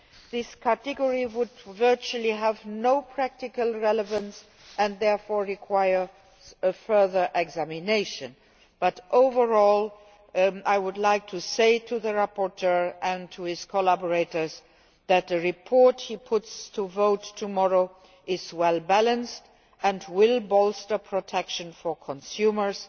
This category would have virtually no practical relevance, and it therefore requires further examination. Overall, though, I would like to say to the rapporteur and to his collaborators that the report he is putting to the vote tomorrow is well balanced and will bolster protection for consumers.